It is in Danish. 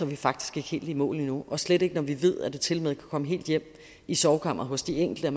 vi faktisk ikke helt i mål endnu og slet ikke når vi ved at det tilmed kan komme helt hjem i sovekammeret hos de enkelte og